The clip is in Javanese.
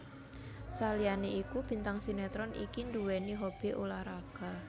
Saliyané iku bintang sinetron iki nduwéni hobi ulah raga